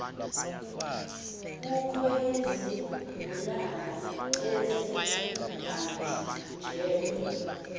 kukho izigulana ezingahanjelwa